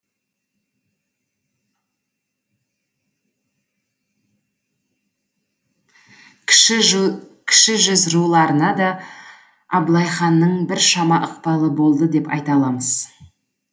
кіші жүз руларына да абылай ханның біршама ықпалы болды деп айта аламыз